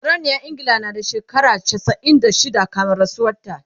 sarauniyar ingila na da shekara chasa'in da shida kamin rasuwan ta